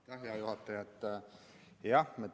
Aitäh, hea juhataja!